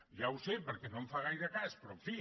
ja ho sé perquè no em fa gaire cas però en fi